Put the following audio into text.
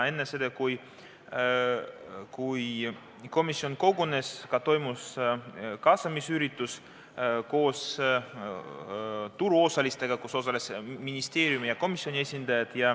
Enne seda, kui komisjon kogunes, toimus koos turuosalistega kaasamisüritus, millel osalesid ministeeriumi ja komisjoni esindajad.